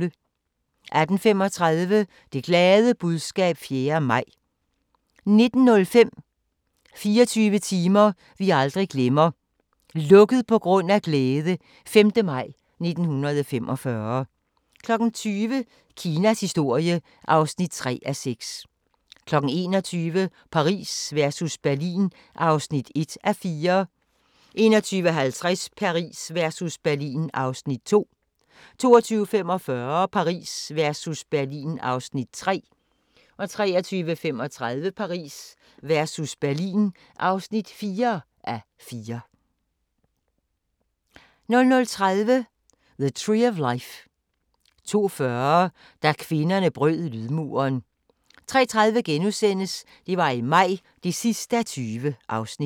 18:35: Det glade budskab 4. maj 19:05: 24 timer vi aldrig glemmer - "Lukket på grund af glæde" - 5. maj 1945 20:00: Kinas historie (3:6) 21:00: Paris versus Berlin (1:4) 21:50: Paris versus Berlin (2:4) 22:45: Paris versus Berlin (3:4) 23:35: Paris versus Berlin (4:4) 00:30: The Tree of Life 02:40: Da kvinderne brød lydmuren 03:30: Det var i maj (20:20)*